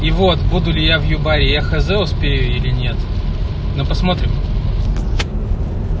и вот буду ли я в выборе хоспере линет но посмотрим